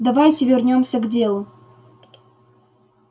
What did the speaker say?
давайте вернёмся к делу